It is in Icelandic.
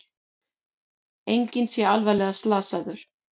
Enginn sé alvarlega slasaður